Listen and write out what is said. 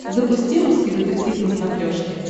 запусти русский детектив на смотрешке